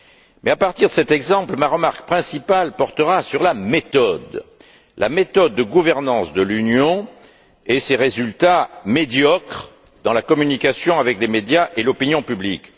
Mais à partir de cet exemple, ma remarque principale portera sur la méthode de gouvernance de l'Union et ses résultats médiocres dans la communication avec les médias et l'opinion publique.